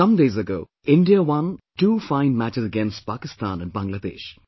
Some days ago India won two fine matches against Pakistan and Bangladesh